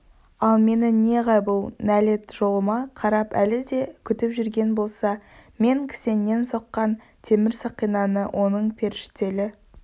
ал менің неғайбыл нәлет жолыма қарап әлі де күтіп жүрген болса мен кісеннен соққан темір сақинаны оның періштелі